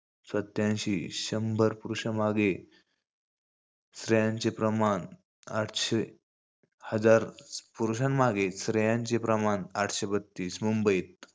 सत्यांशी. शंभर पुरुषामागे स्त्रियांचे प्रमाण आठशे, हजार. पुरूषांमागे स्त्रियांचे प्रमाण आठशे बत्तीस. मुंबईत,